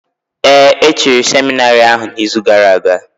Ee, e chiri seminarị ahụ n’izu gara aga.